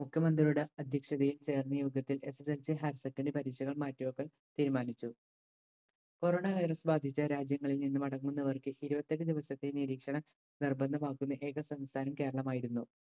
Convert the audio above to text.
മുഖ്യമന്ത്രിയുടെ അധ്യക്ഷതയിൽ ചേർന്ന യോഗത്തിൽ SSLChigher secondary പരീക്ഷകൾ മാറ്റിവെക്കാൻ തീരുമാനിച്ചു corona virus ബാധിച്ച രാജ്യങ്ങളിൽ നിന്ന് മടങ്ങുന്നവർക്ക് ഇരുപത്തെട്ട് ദിവസത്തെ നിരീക്ഷണം നിർബന്ധമാക്കുന്ന ഏക സംസ്ഥാനം കേരളമായിരുന്നു.